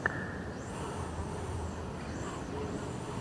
микс аврил лавин вево